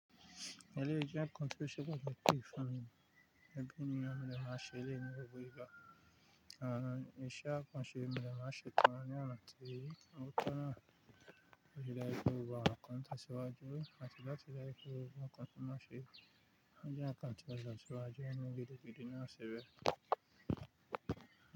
Eleyii jẹ nkan ti ṣẹ́gùn mi pè fún mi. Ebí ni ọmọ mi lè máa ṣeré ní ibù ibà. Àánú ìṣe àkànṣe mi lè má ṣe tán ní àná torí àwọn ọ̀tọ̀ náà kò ṣe láé fún wa àkànṣe síwájú àti láti dá sílẹ̀ fún wa àkànṣe má ṣe. Olè jí àkànṣe lọ́jà síwájú ẹni gidi gidi náà ṣẹ́bẹ̀.